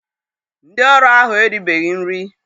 Ndị ọrụ ahụ eribeghị nri.